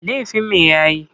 Laifin me ya yi?